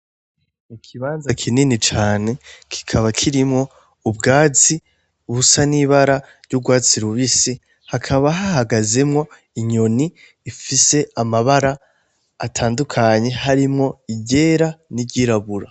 Ikibanza kinini cane kikaba kirimwo ubwatsi busa n'ibara ry'urwatsi rubisi ,hakaba hahagazemwo inyoni ifise amabara atandukanye harimwo iryera, n'iryirabura.